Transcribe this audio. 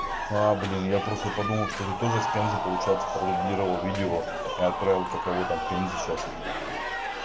блин я просто подумал что ты тоже с пензой получается продублировал видео и отправил какого там в пензе сейчас